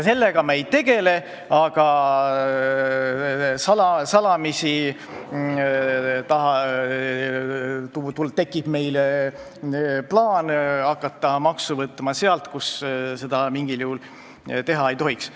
Sellega me ei tegele, aga salamisi tekib plaan hakata maksu võtma sealt, kust seda mingil juhul võtta ei tohiks.